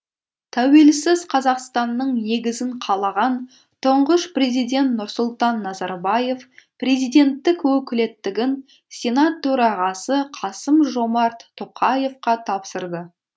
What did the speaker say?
тәуелсіз қазақстанның негізін қалаған тұңғыш президент нұрсұлтан назарбаев президенттік өкілеттігін сенат төрағасы қасым жомарт тоқаевқа тапсырды